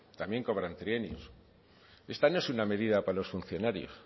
también cobran trienios esta no es una medida para los funcionarios